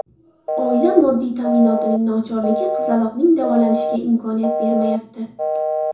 Oila moddiy ta’minotining nochorligi qizaloqning davolanishiga imkon bermayapti.